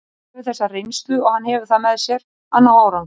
Hann hefur þessa reynslu og hann hefur það með sér að ná árangri.